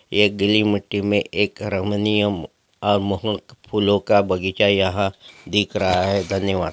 यह गीली मट्टी में एक फूलों का बगीचा यहाँ दिख रहा है धन्यवाद।